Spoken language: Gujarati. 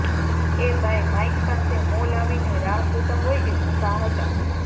એ ભાઈ માઈક પાસે મોં લાવીને રાહ જોતા હોય એમ ઊભા હતા